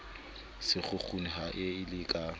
sekgukguni ha a le ka